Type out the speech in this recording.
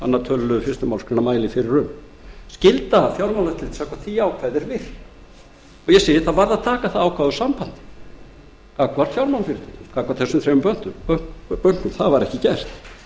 öðrum tölulið fyrstu málsgrein mælir fyrir um skylda fjármálaeftirlitsins samkvæmt því ákvæði er virk það varð að taka það ákvæði úr sambandi gagnvart fjármálafyrirtækjum gagnvart þessum þremur bönkum það var ekki gert